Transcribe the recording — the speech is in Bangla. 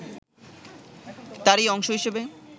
তারই অংশ হিসেবে